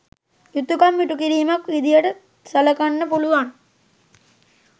යුතුකම් ඉටුකිරීමක් විදිහටත් සලකන්න පුළුවන්.